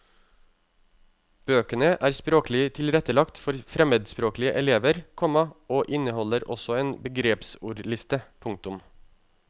Bøkene er språklig tilrettelagt for fremmedspråklige elever, komma og inneholder også en begrepsordliste. punktum